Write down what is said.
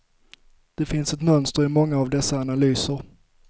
Det finns ett mönster i många av dessa analyser.